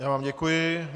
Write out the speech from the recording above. Já vám děkuji.